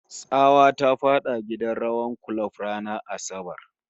Tsawa ta fada gidan rawar kulob ranar Asabar